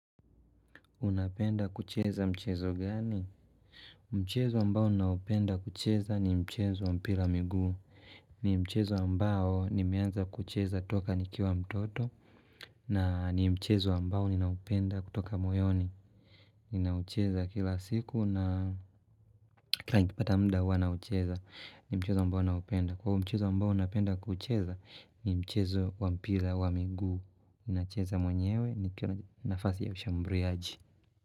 Unapenda kucheza mchezo gani? Mchezo mbao naupenda kucheza ni mchezo wa mpira miguu. Ni mchezo ambao nimeanza kucheza toka nikiwa mtoto. Na ni mchezo mbao ni naupenda kutoka moyoni. Ninaucheza kila siku na kila ikipata mda huwa naucheza. Ni mchezo mbao naupenda. Kwa mchezo ambao unapenda kucheza ni mchezo wa mpira wa miguu. Ninaucheza mwenyewe ni nafasi ya ushambuliaji.